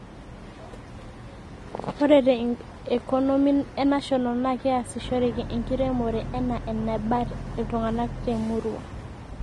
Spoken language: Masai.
ore te ikonomi e national naa keyasishoreki enkiremore enaa eneba iltunganak te murua